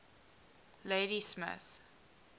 ladysmith